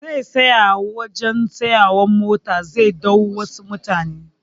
Zai tsaya a wajan tsayawan mota zai ɗau wasu mutane